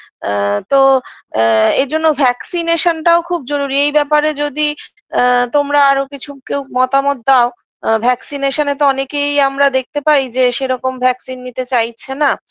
আ তো আ এই জন্য vaccination -টাও খুব জরুরি এই ব্যাপারে যদি আ তোমরা আরও কিছু কেউ মতামত দাও vaccination -এ তো অনেকেই আমরা দেখতে পাই যে সেরকম vaccine নিতে চাইছেনা